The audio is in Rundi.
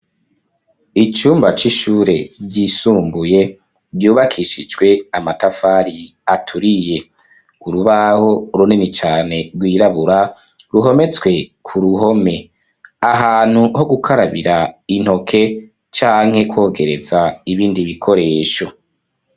Icumba c'ishure ryisumbuye ryubakishijwe amatafari aturiye ,urubaho runini cane rwirabura ruhometswe ku ruhome ,ahantu ho gukarabira intoke canke kwogereza ibindi bikoresho.